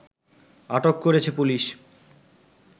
আটক করেছে পুলিশ